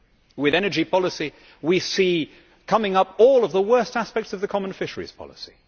With energy policy, we can see coming up all of the worst aspects of the common fisheries policy.